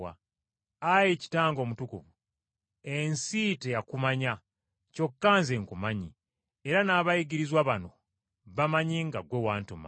“Ayi Kitange Omutukuvu, ensi teyakumanya, kyokka Nze nkumanyi era n’abayigirizwa bano bamanyi nga ggwe wantuma.